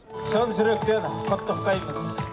шын жүректен құттықтаймыз